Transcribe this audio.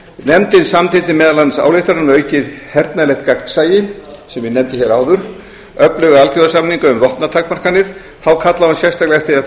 nefndin samþykkti meðal annars ályktanir um aukið hernaðarlegt gagnsæi sem ég nefndi hér áður öfluga alþjóðasamninga um vopnatakmarkanir þá kallaði hún sérstaklega eftir því að